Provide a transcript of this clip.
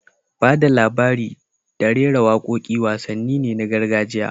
Ba da labari da rera waƙoƙi wasanni ne na gargajiya